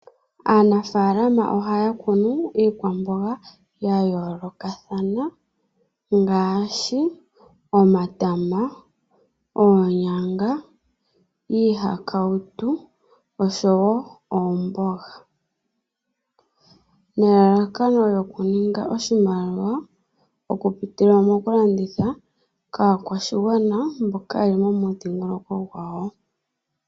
Aanafaalama ohaya kunu iikwamboga ya yoolokathana ngaashi, omatama, oonyanga, iihakawutu oshowo oomboga. Nelalakano lyokuninga oshimaliwa okupitila mokulanditha kaakwashigwana mboka ye li momudhingoloko gwawo.